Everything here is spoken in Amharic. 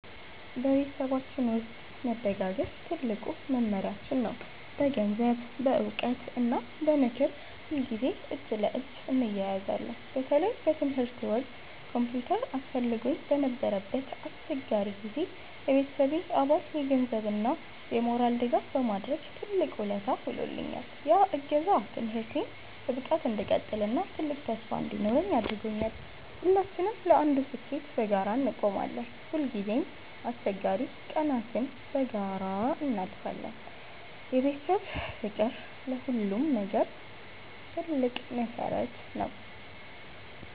በቤተሰባችን ውስጥ መደጋገፍ ትልቁ መመሪያችን ነው። በገንዘብ፣ በዕውቀት እና በምክር ሁልጊዜ እጅ ለእጅ እንያያዛለን። በተለይ በትምህርቴ ወቅት ኮምፒውተር አስፈልጎኝ በነበረበት አስቸጋሪ ጊዜ፣ የቤተሰቤ አባል የገንዘብ እና የሞራል ድጋፍ በማድረግ ትልቅ ውለታ ውሎልኛል። ያ እገዛ ትምህርቴን በብቃት እንድቀጥል እና ትልቅ ተስፋ እንዲኖረኝ አድርጓል። ሁላችንም ለአንዱ ስኬት በጋራ እንቆማለን። ሁልጊዜም አስቸጋሪ ቀናትን በጋራ እናልፋለን። የቤተሰብ ፍቅር ለሁሉም ነገር መሰረት ነው።